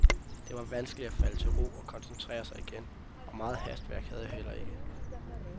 Det var vanskeligt at falde til ro og koncentrere sig igen, og meget hastværk havde jeg heller ikke.